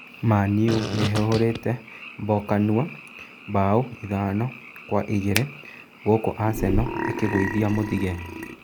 Mani-U ni ĩhũrĩte Mbokanua mbao ithano kwa igĩrĩ gūkū Aseno ĩkĩgūithia Muthige.